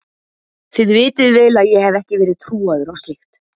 Þið vitið vel að ég hef ekki verið trúaður á slíkt.